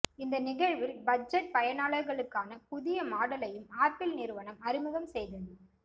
இந்த நிகழ்வில் பட்ஜெட் பயனாளர்களுக்கான புதிய மாடலையும் ஆப்பிள் நிறுவனம அறிமுகம் செய்தது